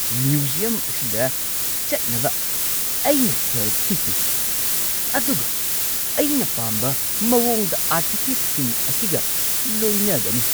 Museum ꯑꯁꯤꯗ ꯆꯠꯅꯕ ꯑꯩꯅ ꯁꯦꯜ ꯊꯤꯈꯤ, ꯑꯗꯨꯒ ꯑꯩꯅ ꯄꯥꯝꯕ ꯃꯑꯣꯡꯗ ꯑꯥꯔꯇꯤꯐꯦꯛꯁꯤꯡ ꯑꯁꯤꯒ ꯂꯣꯏꯅꯒꯅꯤ!